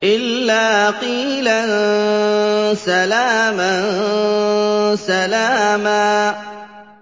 إِلَّا قِيلًا سَلَامًا سَلَامًا